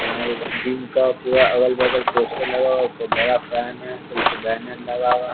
यहां एक जिम का पूरा अगल-बगल पोस्टर लगा हुआ उपर बड़ा फैन है पीछे बैनर लगा हुआ --